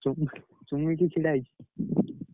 ଚୁମିକି, ଚୁମୁକି ଛିଡା ହେଇଛି।